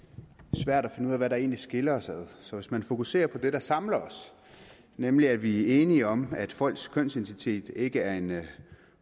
svært at finde ud af hvad der egentlig skiller os ad så hvis man fokuserer på det der samler os nemlig at vi er enige om at folks kønsidentitet ikke er en